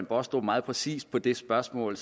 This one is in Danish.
baastrup meget præcist på det spørgsmål